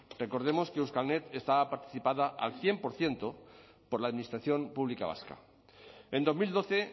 recordemos que euskalnet estaba participada al cien por ciento por la administración pública vasca en dos mil doce